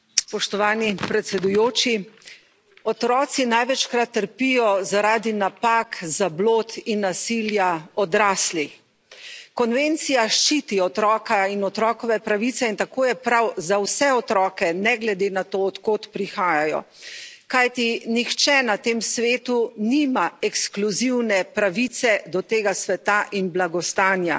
Gospod predsednik, otroci največkrat trpijo zaradi napak, zablod in nasilja odraslih. Konvencija ščiti otroka in otrokove pravice in tako je prav za vse otroke, ne glede na to, od kod prihajajo. Kajti nihče na tem svetu nima ekskluzivne pravice do tega sveta in blagostanja.